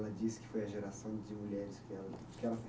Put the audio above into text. Ela disse que foi a geração de mulheres que ela, que ela